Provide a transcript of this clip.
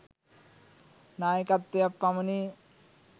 නායකත්වයක් පමණි.